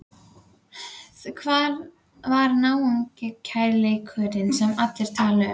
Hvar var náungakærleikurinn sem allir tala um?